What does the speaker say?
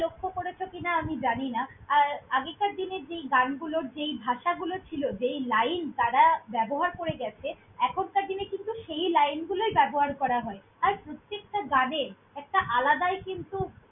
লক্ষ্য করেছ কিনা আমি জানি না! আর আগেকার দিনের যেই গানগুলোর যেই ভাষাগুলো ছিল, যেই line তারা ব্যবহার করে গ্যাছে, এখনকার দিনে কিন্তু সেই line গুলোই ব্যবহার করা হয়। আর, প্রতেকটা গানে একটা আলাদাই কিন্তু।